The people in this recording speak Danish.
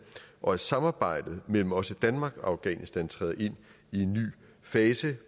og at samarbejdet mellem også danmark og afghanistan træder ind i en ny fase